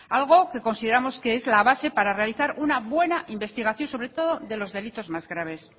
algo que consideramos que es la base para realizar una buena investigación sobre todo de los delitos más graves